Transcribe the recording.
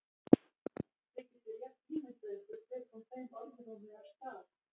Þið getið rétt ímyndað ykkur hver kom þeim orðrómi af stað.